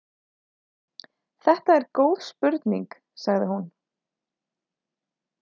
Þetta er góð spurning, sagði hún.